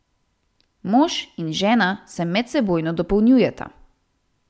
Mož in žena se medsebojno dopolnjujeta.